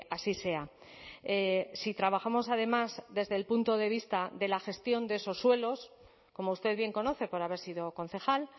así sea si trabajamos además desde el punto de vista de la gestión de esos suelos como usted bien conoce por haber sido concejal